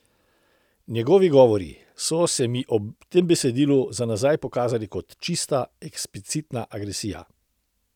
Njegovi govori so se mi ob tem besedilu za nazaj pokazali kot čista, eksplicitna agresija.